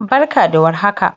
Barka da warhaka,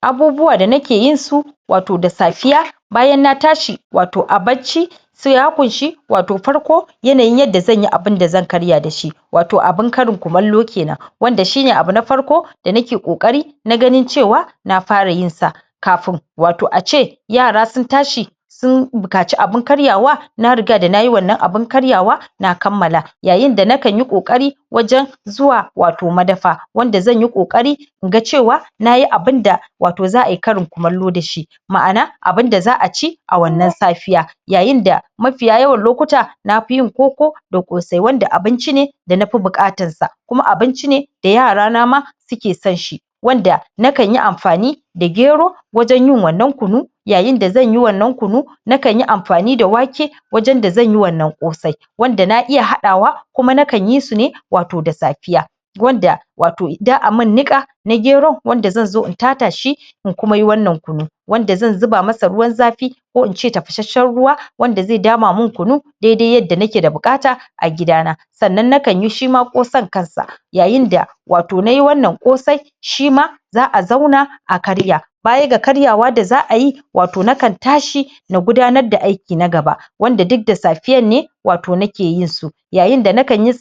abubuwa da nake yin su wato da safiya, bayan na tashi, wato a bacci, se ya ƙunshi, wato farko yanayin yadda zan yi abinda zan karya da shi wato abin karin kumallo kenan wanda shi ne abu na farko, da nake ƙoƙari na ganin cewa na fara yin sa kafin wato a ce yara sun tashi sun buƙaci abin karyawa na riga da nayi wannan abin karyawa na kammala yayin da na kan yi ƙoƙari wajen zuwa wato madafa, wanda zan yi ƙoƙari in ga cewa nayi abin da wato za'a yi karin kumallo da shi ma'ana abinda za'a ci a wannan safiya yayin da mafiya yawan lokuta na fi yin koko da ƙosai, wanda abinci ne da nafi buƙatas sa kuma abinci ne da yara na ma suke son shi wanda na kan yi amfani da gero wajen yin wannan kunu yayin da zan yi wannan kunu na kan yi amfani da wake wajen da zan yi wannan ƙosai wanda na iya haɗawa, kuma na kan yi sune wato da safiya wanda wato idan za'a min niƙa na gero, wanda zan zo in tata shi in kuma yi wannan kunu wanda zan zuba masa ruwan zafi ko ince tafashashen ruwa wanda ze dama min kunu dede yadda nake da buƙata a gida na sannan na kan yi shi ma ƙosan kan sa yayin da wato nai wannan ƙosai shi ma za'a zauna a karya bayan ga karyawa da za'a yi wato na kan tashi na gudanar da aiki na gaba wanda duk da safiyan ne, wato nake yin su yayin da na kan yi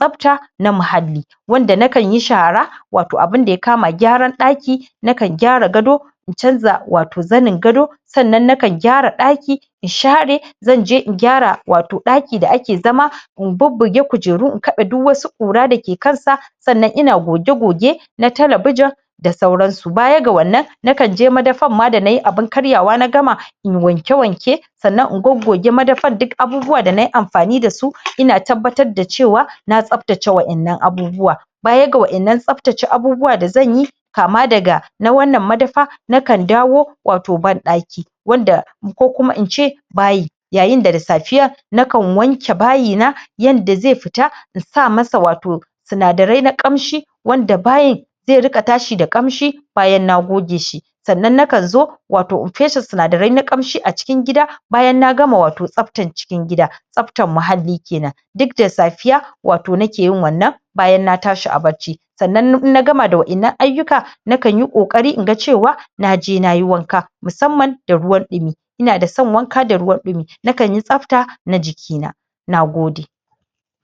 na mahalli wanda na kan yi shara, wato abinda ya kama gyaran ɗaki na kan gyara gado, in canza wato zanin gado, sannan na kan gyara ɗaki, in share, zan je in gyara wato ɗaki da ake zama in bubbuge kujeru, in kaɓe duk wasu ƙura da ke kan sa, sannan ina goge-goge na talabijin, da sauran su, bayan ga wannan na kan je madafan ma da nayi abin karyawa na gama in wanke-wanke sannan in goggoge madafan, duk abubuwan da nayi amfani da su ina tabbatad da cewa na tsabtace waƴannan abubuwa bayan ga waƴannan tsabtace abubuwa da zan yi kama daga na wannan madafa, na kan dawo wato banɗaki wanda ko kuma in ce bayi yayin da da safiya na kan wanke bayi na yadda zai fita, in sa masa wato sinadarai na ƙamshi wanda bayin ze riƙa tashi da ƙamshi bayan na goge shi sannan na kan zo wato in feshe sinadarai na ƙamshi a cikin gida bayan na gama wato tsabtan cikin gida tsabtan mahalli kenan duk da safiya wato nake yin wannan bayan na tashi a bacci sanna in na gama da waƴannan ayyuka na kan yi ƙoƙari in ga cewa naje nayi wanka musamman da ruwan ɗumi ina da son wanka da ruwan ɗumi na kan yi tsabta na jiki na na gode.